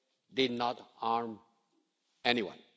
did not harm anyone.